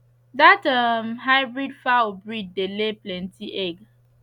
that um hybrid fowl breed dey lay plenty egg